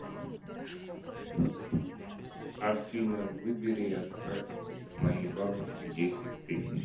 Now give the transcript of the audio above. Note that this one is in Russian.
афина выбери и отправь моей бабушке десять тысяч